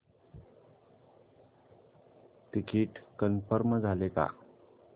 ticket confirm झाले का